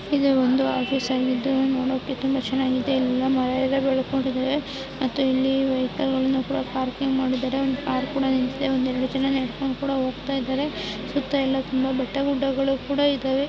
ಇದು ಒಂದು ಆಫೀಸ್ ಆಗಿದ್ದು ನೋಡೋಕೆ ತುಂಬಾ ಚೆನ್ನಾಗಿದೆ ಇಲ್ಲೆಲ್ಲಾ ಮರ ಗಿಡಗಳು ಮತ್ತು ಇಲ್ಲಿ ವೆಹಿಕಲ್ಗಳನ್ನು ಕೂಡ ಪಾರ್ಕಿಂಗ್ ಮಾಡಿದ್ದಾರೆ ಒಂದ್ ಕಾರ್ ಕೂಡ ನಿಂತಿದೆ. ಒಂದೆರಡು ಜನ ನಡ್ಕೊಂಡ್ ಹೋಗ್ತಾ ಇದಾರೆ ಬೆಟ್ಟ-ಗುಡ್ಡಗಳು ಕೂಡ ಇದಾವೆ.